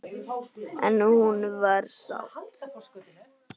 En hún var sátt.